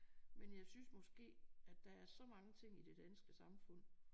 Men jeg synes måske at der er så mange ting i det danske samfund